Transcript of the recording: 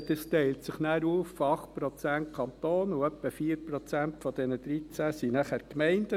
Das teilt sich dann auf 8 Prozent Kanton auf, und etwa 4 Prozent von den 13 Prozent sind die Gemeinden.